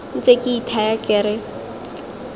ntse ke ithaya ke re